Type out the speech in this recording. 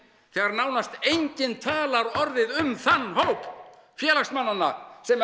þegar nánast enginn talar orðið um þann hóp félagsmannanna sem